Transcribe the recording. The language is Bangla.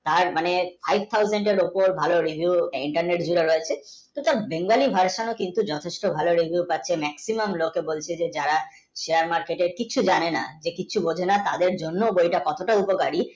আর মানে five thousand এর উপর ভালো review, internet দিয়ে রয়েছে bengali, version কিন্তু যথেষ্ট ভাল reviews পাচ্ছি maximum লোক বলছে যারা share market এর কিচ্ছু জানে না কিছু মহিলা তাদের জন্য কতটা উপকারী